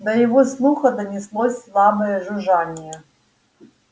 до его слуха донеслось слабое жужжание